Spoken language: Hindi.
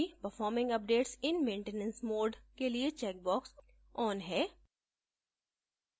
सुनिश्चित करें कि performing updates in maintenance mode के लिए checkbox on है